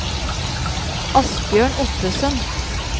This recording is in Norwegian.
Asbjørn Ottesen